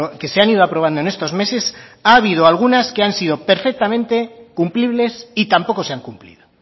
que se han ido aprobando en estos meses ha habido algunas que han sido perfectamente cumplibles y tampoco se han cumplido